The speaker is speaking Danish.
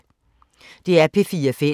DR P4 Fælles